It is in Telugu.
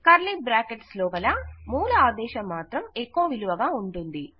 కర్లీ బ్రాకెట్స్ లోపల మూల ఆదేశం మాత్రం ఎకొ విలువగా ఊంటుంది